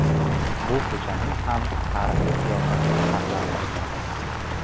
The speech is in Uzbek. Bu ko‘chaning ham tarixiy qiyofasi saqlab qolinadi.